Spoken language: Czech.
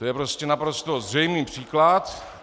To je prostě naprosto zřejmý příklad.